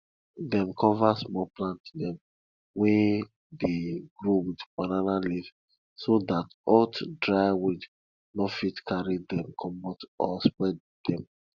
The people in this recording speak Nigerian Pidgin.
dem cover small plant dem wey dey grow with banana leaf so dat hot dry wind no fit carry dem commot or spoil dem